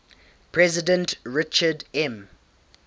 president richard m